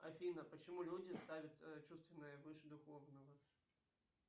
афина почему люди ставят чувственное выше духовного